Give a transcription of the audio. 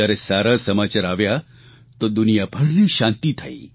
જયારે સારા સમાચાર આવ્યા તો દુનિયાભરને શાંતિ થઇ